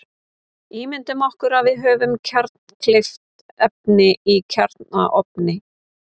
Ímyndum okkur að við höfum kjarnkleyft efni í kjarnaofni.